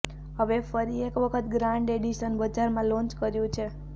હવે ફરી એક વખત ગ્રાન્ડ એડિશન બજારમાં લોન્ચ કર્યુ છે